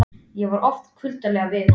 Ég var oft kuldaleg við hana.